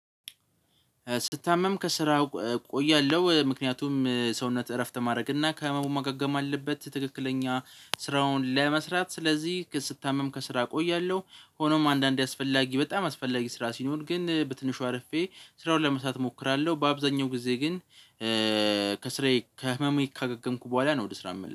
ስታመም ከስራ እቆያለሁ። ምክንያቱም ሰውነት እረፍት ማድረግና ከህመሙ ማገገም አለበት። ትክክለኛ ስራውን ለመስራት። ስለዚህ ግን ስታመም ከስራ እቆያለሁ። ሆኖም አንዳንዴ አስፈላጊ በጣም አስፈላጊ ስራ ሲኖር ግን በትንሹ አርፌ ስራውን ለመስራት እሞክራለሁ። በአብዛኛው ጊዜ ግን ከስራዬ ከህመሜ ካገገምኩ በኋላ ነው ወደ ስራ የምመለሰው።